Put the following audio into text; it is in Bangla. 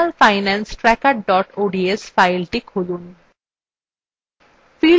personalfinancetracker ods fileটি খুলুন